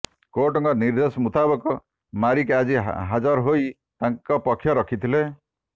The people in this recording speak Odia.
କୋର୍ଟଙ୍କ ନିର୍ଦ୍ଦେଶ ମୁତାବକ ମାରିକ ଆଜି ହାଜର ହୋଇ ତାଙ୍କ ପକ୍ଷ ରଖିଥିଲେ